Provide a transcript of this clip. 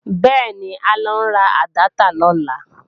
Bẹ́ẹ̀ni, à ń lọ ra àdáptà lọ́la